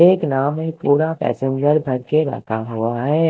एक नाव में पूरा पैसेंजर भरके रखा हुआ है।